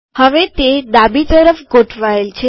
હવે તે ડાબી તરફ ગોઠવાયેલ છે